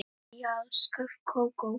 Já, sjálf Kókó